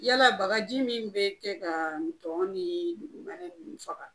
Yala bagaji min bɛ kɛ kaa ntɔn nii dugumɛnɛ ninnu faga